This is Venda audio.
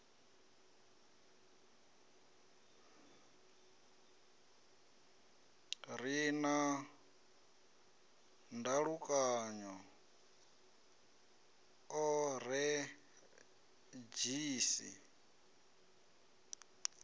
re na ndalukanyo o redzhisi